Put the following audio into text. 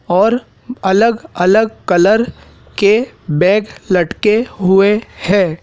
और अलग अलग कलर के बैग लटके हुए हैं।